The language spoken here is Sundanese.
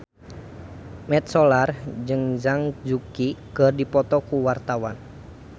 Mat Solar jeung Zhang Yuqi keur dipoto ku wartawan